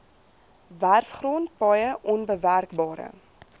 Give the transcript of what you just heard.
werfgrond paaie onbewerkbare